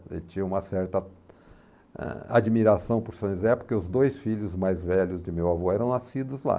Ele tinha uma certa ãh admiração por São José, porque os dois filhos mais velhos de meu avô eram nascidos lá.